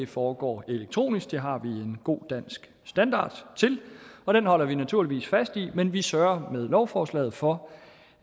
foregår elektronisk det har vi en god dansk standard til og den holder vi naturligvis fast i men vi sørger med lovforslaget for